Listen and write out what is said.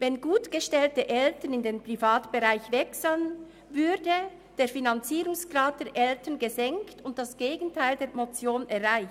Wenn gutgestellte Eltern in den Privatbereich wechseln, würde der Finanzierungsgrad der Eltern gesenkt und das Gegenteil der Motion erreicht.